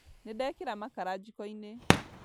Nĩndekĩra makara jiko-inĩ